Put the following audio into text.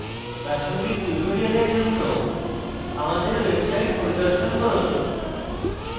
প্রাসঙ্গিক tutorials জন্য আমাদের website পরিদর্শন করুন